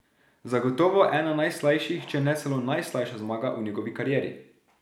Zagotovo ena najslajših, če ne celo najslajša zmaga v njegovi karieri.